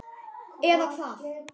Eða, eða hvað?